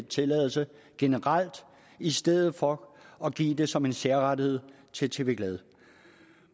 tilladelse generelt i stedet for at give det som en særrettighed til tv glad